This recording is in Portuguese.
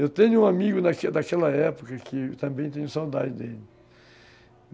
Eu tenho um amigo daquela daquela época que também tenho saudade dele.